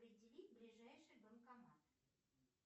определить ближайший банкомат